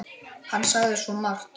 Hann sagði svo margt.